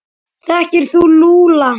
Þekkir þú Lúlla?